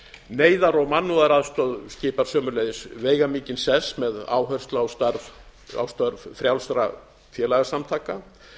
neyðar og mannúðaraðstoð skipar sömuleiðis veigamikinn sess með áherslu á störf frjálsra félagasamtaka